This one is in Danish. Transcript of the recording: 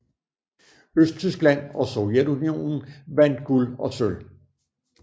Østtyskland og Sovjetunionen vandt guld og sølv